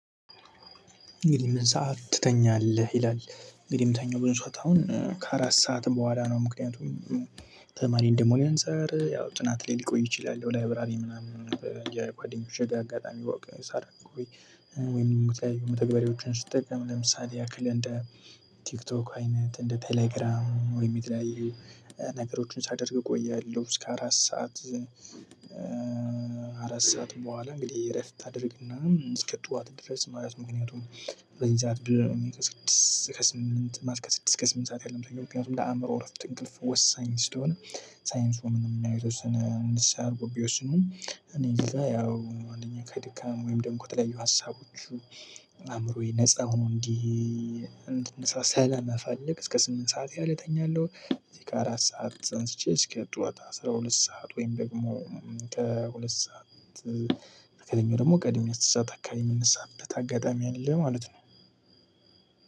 "እንግዲህ ምን ሰዓት ትተኛለህ?" ይላል እንግዲህ የምተኛው ብዙ ሰዓት አሁን ከአራት ሰዓት በኋላ ነው። ምክንያቱም ተማሪ እንደመሆኔ እንጻር ያው ጥናት ላይ ልቆይ እችላለሁ ላይብረሪ ምናምን የጓደኞቼ ጋር አጋጣሚ ወክ ሳደርግ ወይ ወይም ደግሞ የተለያዩ መተግበሪያዎችን ስጠቀም ለምሳሌ ያክል እንደ ቲክቶክ አይነት እንደ ቴሌግራም ወይም የተለያዩ ነገሮችን ሳደርግ እቆያለሁ እስከ አራት ሰዓት አራት ሰዓት በኋላ እንግዲህ እረፍት አደርግና እስከ ጠዋት ድረስ ማለት ምክንያቱም በዚህ ሰዓት በስድስት ከስምንት ማል ከስድስት እስከ ስምንት ሰዓት ያህል ነው የምተኛው። ምክንያቱም ለአእምሮ እረፍት እንቅልፍ ወሳኝ ስለሆነ ሳይንሱም ያው የተወሰነ ንስሃ አድርገው ቢወስኑም እኔ እዚህ ጋር ያው አንደኛ ከድካም ወይም ደግሞ ከተለያዩ ሀሳቦች አእምሮዬ ነፃ ሆኖ እንዲ እንድ ነሳ ሰላምፈልግ ለስምንት ሰዓት ያህል እተኛለሁ እዚህ ከአራት ሰዓት አንስቼ እስከ ጠዋት አስራ ሁለት ሰዓት ወይም ደግሞ ከሁለት ሰዓት ከተኛው ደግሞ ቀድሜ አስር ሰዓት አካባቢ የምነሳበት አጋጣሚ አለ ማለት ነው።